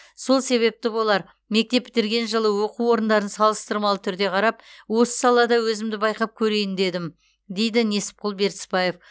сол себепті болар мектеп бітірген жылы оқу орындарын салыстырмалы түрде қарап осы салада өзімді байқап көрейін дедім дейді несіпқұл бертісбаев